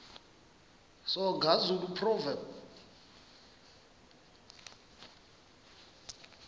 soga zulu proverbs